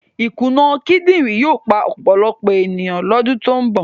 Ìkùnà kíndìnrín yóò pa ọ̀pọ̀lọpọ̀ ènìyàn lọ́dún tó ń bọ̀.